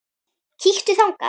Kíktu þangað.